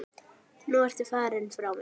Nú ertu farinn frá mér.